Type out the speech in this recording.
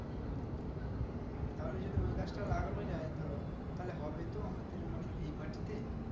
হুম তাহলে যদি ওই গাছটা লাগানো যাই ধরো তাহলে হবে তো আমাদের এই মানে এই মাটিতে